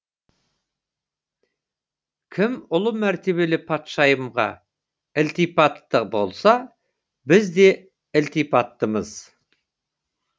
кім ұлы мәртебелі патшайымға ілтипатты болса біз де ілтипаттымыз